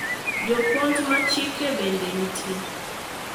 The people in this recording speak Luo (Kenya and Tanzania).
Jopuonj mag chike bende nitie.